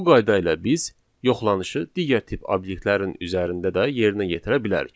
Bu qayda ilə biz yoxlanışı digər tip obyektlərin üzərində də yerinə yetirə bilərik.